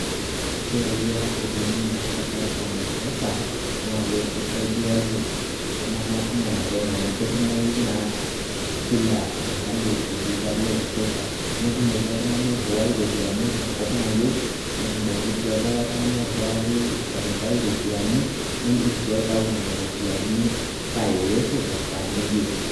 Keyawua oleng naa Safaricom mpesa naa kei keisaidiayie iltung`anak kumok naleng, amu ketumoyu naa kila mahali olduka le mpesa. Netumoki oltung`ani airiwai irropiyiani enkop nayieu. Netumoki sii likae tung`ani airiwaki olikae irropiyiani niidim sii aitayu nena ropiyiani saa yeyote tesaa niyieu.